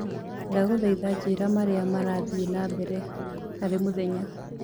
ndagũthaĩtha njĩĩra maria marathie na mbere harĩ mũthenya